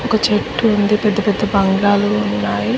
ఒక చెట్టు ఉంది పెద్ద పెద్ద బాంగ్లౌ ఉంది--